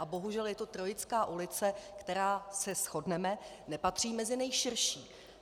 A bohužel je to Trojická ulice, která, se shodneme, nepatří mezi nejširší.